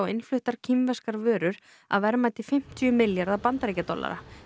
innfluttar kínverskar vörur að verðmæti fimmtíu milljarða bandaríkjadollara